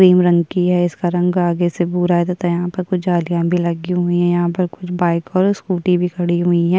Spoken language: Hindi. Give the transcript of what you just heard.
क्रीम रंग की है। इसका रंग आगे से भूरा है तथा यहां पर कुछ जालियां भी लगी हुई है। यहां पर कुछ बाइक और स्कूटी भी खड़ी हुई हैं।